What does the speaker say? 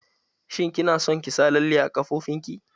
Shin kina son ki sa lalle a ƙafafonki?